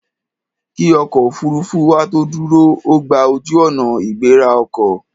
Kí ọkọ̀ òfuurufú wa tó dúró, ó gba ojú-ọ̀nà ìgbéra ọkọ̀.